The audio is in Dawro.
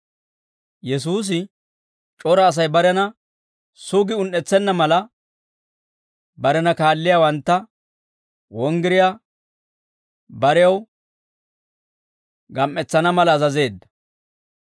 Yesuusi c'ora Asay barena sugi un"etsenna mala, barena kaalliyaawantta wonggiriyaa barew gam"etsana mala azazeedda.